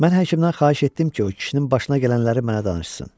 Mən həkimdən xahiş etdim ki, o kişinin başına gələnləri mənə danışsın.